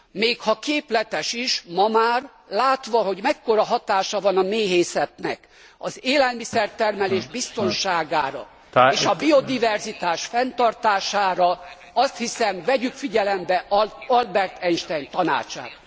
Még ha képletes is, ma már látva, hogy mekkora hatása van a méhészetnek az élelmiszertermelés biztonságára és a biodiverzitás fenntartására, azt hiszem, vegyük figyelembe Albert Einstein tanácsát.